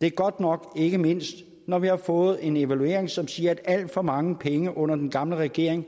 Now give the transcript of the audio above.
det er godt nok ikke mindst når vi har fået en evaluering som siger at alt for mange penge under den gamle regering